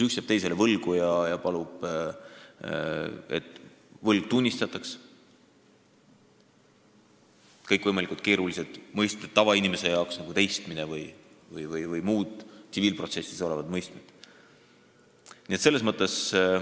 Üks jääb teisele võlgu ja palub, et võlga tunnistataks, aga meil on seaduses kõikvõimalikud tavainimese jaoks keerulised mõisted nagu ''teistmine'' ja mis kõik veel.